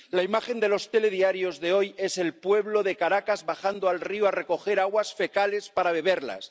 La imagen de los telediarios de hoy es el pueblo de Caracas bajando al río a recoger aguas fecales para beberlas.